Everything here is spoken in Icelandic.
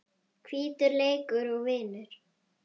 Hvítur leikur og vinnur.